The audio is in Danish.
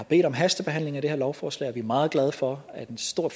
en hastebehandling af det lovforslag og vi er meget glade for at en stor